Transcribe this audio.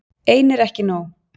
Ein er ekki nóg.